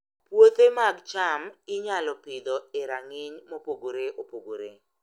Puothe mag cham inyalo Pidho e rang'iny mopogore opogore